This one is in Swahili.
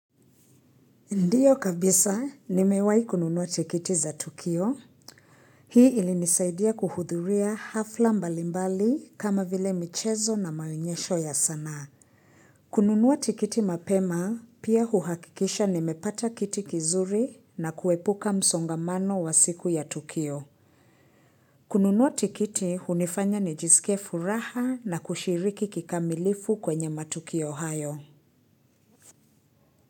Ndio kabisa, nimewahi kununua tikiti za tukio, Hii ilinisaidia kuhudhuria hafla mbalimbali kama vile michezo na maonyesho ya sanaa. Kununua tikiti mapema, pia huhakikisha nimepata kiti kizuri na kuepuka msongamano wa siku ya tukio. Kununua tikiti, hunifanya nijisikie furaha na kushiriki kikamilifu kwenye matuki hayo.